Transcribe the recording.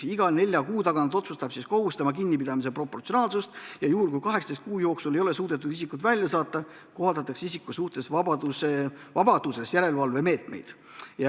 Iga nelja kuu tagant otsustab kohus tema kinnipidamise proportsionaalsust ja kui 18 kuu jooksul ei ole suudetud isikut välja saata, kohaldatakse tema suhtes vabaduses järelevalvemeetmeid.